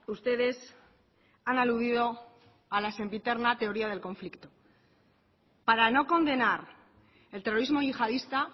ustedes han aludido a la sempiterna teoría del conflicto para no condenar el terrorismo yihadista